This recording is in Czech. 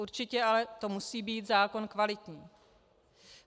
Určitě ale to musí být zákon kvalitní.